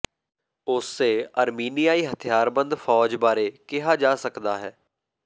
ਉਸੇ ਅਰਮੀਨੀਆਈ ਹਥਿਆਰਬੰਦ ਫ਼ੌਜ ਬਾਰੇ ਕਿਹਾ ਜਾ ਸਕਦਾ ਹੈ